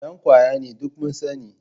Dan kwaya ne, duk mun sani